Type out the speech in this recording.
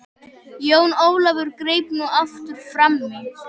Jón Ólafur greip nú aftur framí.